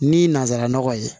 Ni nanzaranɔgɔ ye